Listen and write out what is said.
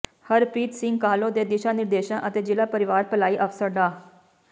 ਹਰਪ੍ਰੀਤ ਸਿੰਘ ਕਾਹਲੋਂ ਦੇ ਦਿਸ਼ਾ ਨਿਰਦੇਸ਼ਾਂ ਅਤੇ ਜਿਲਾ ਪਰਿਵਾਰ ਭਲਾਈ ਅਫਸਰ ਡਾ